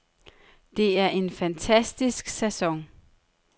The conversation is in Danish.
Det er en fantastisk sæson.